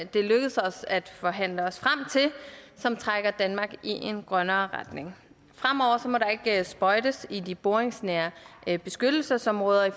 det er lykkedes os at forhandle os og som trækker danmark i en grønnere retning fremover må der ikke sprøjtes i de boringsnære beskyttelsesområder af